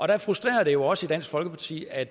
der frustrerer det jo os i dansk folkeparti at